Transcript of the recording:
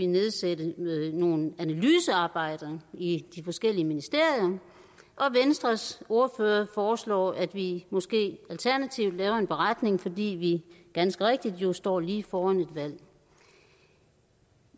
nedsætte nogle analysearbejder i de forskellige ministerier og venstres ordfører foreslår at vi måske alternativt laver en beretning fordi vi ganske rigtigt jo står lige foran et valg